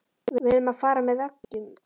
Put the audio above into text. Við urðum að fara með veggjum.